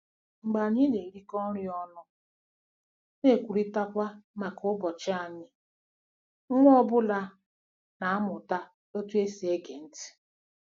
Mgbe anyị na-erikọ nri ọnụ na kwurịtakwa maka ụbọchị anyị, nwa ọ bụla na-amụta otú e si ege ntị.